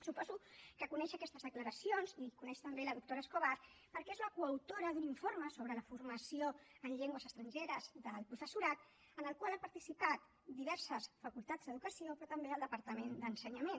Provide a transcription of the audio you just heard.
suposo que coneix aquestes declaracions i coneix també la doctora escobar perquè és la coautora d’un informe sobre la formació en llengües estrangeres del professorat en el qual han participat diverses facultats d’educació però també el departament d’ensenyament